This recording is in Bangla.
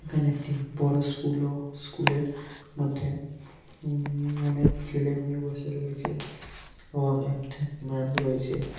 এখানে একটি বড়ো স্কুল ও স্কুল -এর মধ্যে ওম ওম অনেক ছেলে মেয়ে বসে রয়েছে এবং এক ঠেট মেম রয়েছে ।